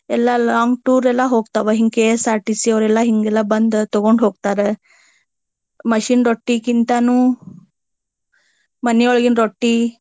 ಎಲ್ಲಾ long tour ಎಲ್ಲಾ ಹೋಗತಾವ. ಹಿಂಗ KSRTC ಯವರೆಲ್ಲಾ ಹಿಂಗೆಲ್ಲಾ ಬಂದ ತಗೊಂಡ ಹೋಗ್ತಾರ. machine ರೊಟ್ಟಿಕ್ಕಿಂತಾನು ಮನೆಯೊಳಗಿನ ರೊಟ್ಟಿ.